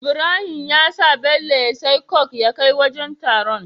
Ibrahim yasa Bello ya siya coke ya kai wajan taron